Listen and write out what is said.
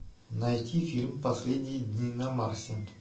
найти фильм последние дни на марсе